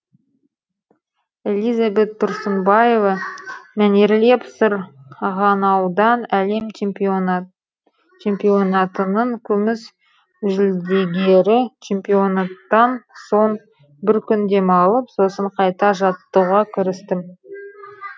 элизабет тұрсынбаева мәнерлеп сыр ғанаудан әлем чемпионатының күміс жүлдегері чемпионаттан соң бір күн демалып сосын қайта жаттығуға кірістім